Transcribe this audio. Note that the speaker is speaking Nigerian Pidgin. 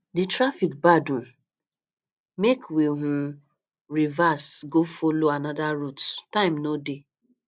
the traffic bad um make we um reverse go follow another route time no dey